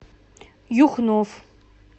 юхнов